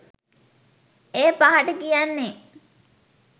ඒ පහට කියන්නේ